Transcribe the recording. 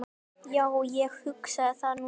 Jú, ég hugsa það nú.